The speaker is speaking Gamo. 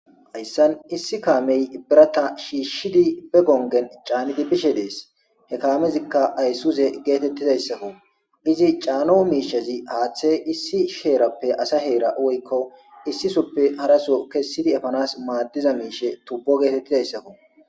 Hayissan issi kameyi biratta shishid bee gonigenni caniddi bishshe dees.hee kamezikka ayisuzze gettetizayissakko .izzi cano mishshezzi haththe issi herappe asa hera woyikko issi sohoppe harasso kessidi efanass madizza mishshe tubo getetizayissakko .